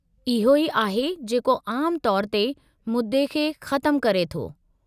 इहो ई आहे जेको आमु तौरु ते मुदे खे ख़तमु करे थो।